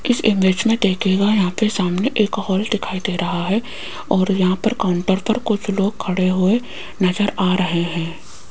इस इमेज में देखिएगा यहां पे सामने एक हॉल दिखाई दे रहा है और यहां पर काउंटर पर कुछ लोग खड़े हुए नजर आ रहे हैं।